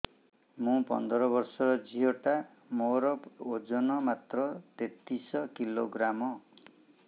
ମୁ ପନ୍ଦର ବର୍ଷ ର ଝିଅ ଟା ମୋର ଓଜନ ମାତ୍ର ତେତିଶ କିଲୋଗ୍ରାମ